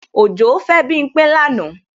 Òjó fẹ́ Bímpé lánàá